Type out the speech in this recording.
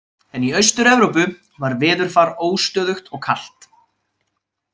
En í Austur-Evrópu var veðurfar óstöðugt og kalt.